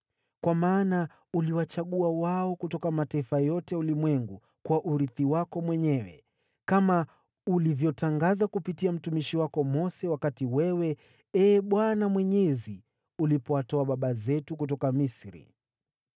Kwa maana uliwachagua wao kutoka mataifa yote ya ulimwengu kuwa urithi wako mwenyewe, kama ulivyotangaza kupitia mtumishi wako Mose wakati wewe, Ee Bwana Mwenyezi, ulipowatoa baba zetu kutoka Misri.”